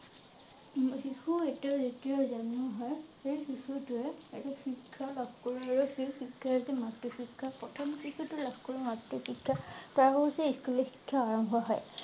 উম শিশু এটা যেতিয়া জন্ম হয় । সেই শিশু টোৱে শিক্ষা লাভ কৰিবলৈ সি মাতৃ শিক্ষা প্ৰথম শিশুটি লাভ কৰি স্কুলৰ শিক্ষা আৰম্ভ হয়।